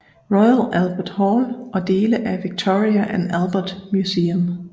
Royal Albert Hall og dele af Victoria and Albert Museum